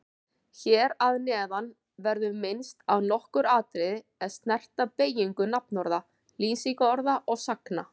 Hér að neðan verður minnst á nokkur atriði er snerta beygingu nafnorða, lýsingarorða og sagna.